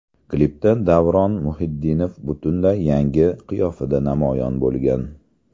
Klipda Davron Muhitdinov butunlay yangi qiyofada namoyon bo‘lgan.